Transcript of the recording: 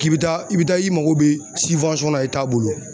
K'i bi taa i bi taa i mako bɛ la bolo